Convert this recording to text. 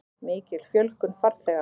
Mikil fjölgun farþega